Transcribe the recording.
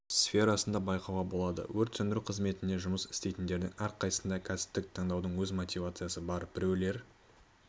сферасында байқауға болады өрт сөндіру қызметінде жұмыс істейтіндердің әрқайсысында кәсіпті таңдаудың өз мотивациясы бар біреулер